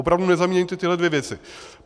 Opravdu nezaměňujte tyhle dvě věci.